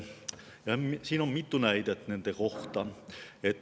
Selle kohta on mitu näidet.